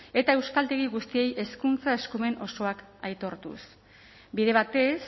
eta euskaltegi guztiei hezkuntza eskumen osoak aitortuz bide batez